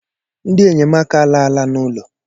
Ndị enyemaka alala n'ụlọ.